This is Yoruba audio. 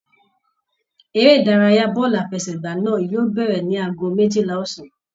Eré ìdárayá bọọlu àfẹ́sẹ̀gbà náà yóò bẹrẹ ní agogo méjìlá ọ̀sán.